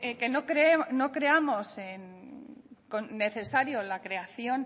que no creamos necesario la creación